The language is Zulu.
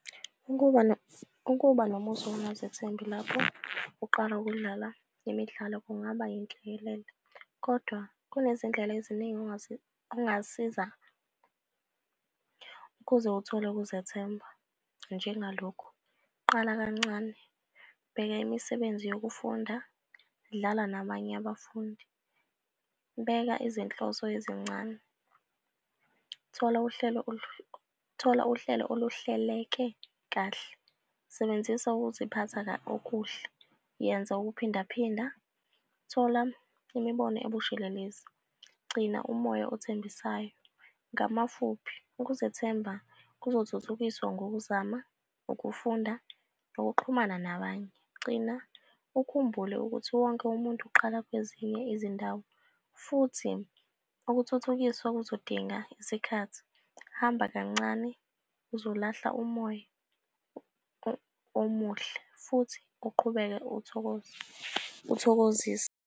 Ukuba ukuba nomuzwa wokungazethembi lapho uqala ukudlala imidlalo kungaba yinhlekelele, kodwa kunezindlela eziningi ongasiza ukuze uthole ukuzethemba. Njengalokhu, qala kancane, bheka imisebenzi yokufunda, dlala nabanye abafundi, beka izinhloso ezincane, thola uhlelo thola uhlelo oluhleleke kahle. Sebenzisa ukuziphatha okuhle. Yenza ukuphindaphinda. Thola imibono ebushelelezi. Gcina umoya othembisayo, ngamafuphi ukuzethemba kuzothuthukiswa ngokuzama, ukufunda, nokuxhumana nabanye. Gcina ukhumbule ukuthi wonke umuntu uqala kwezinye izindawo futhi ukuthuthukiswa kuzodinga isikhathi. Hamba kancane uzolahla umoya omuhle futhi uqhubeke uthokoze uthokozise.